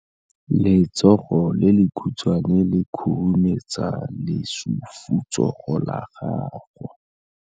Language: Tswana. Letsogo le lekhutshwane le khurumetsa lesufutsogo la gago.